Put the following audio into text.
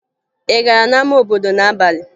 Ị gara n'ama obodo n'abalị?